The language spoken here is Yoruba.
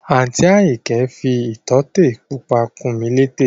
Àǹtí Àyìnkẹ́ fi ìtótè pupa kùn mí létè